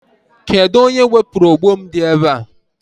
Kedụ onye wepụrụ ogbo m dị ebe a?